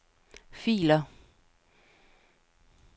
filer